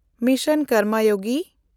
mission Karmayogi